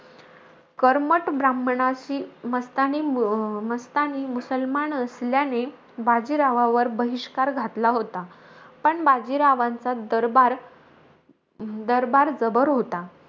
कर्मट ब्राह्मणांशी, मस्तानी मस्तानी मुसलमान असल्याने, बाजीरावावर बहिष्कार घातला होता. पण बाजीरावांचा दरबार दरबार जबर होता.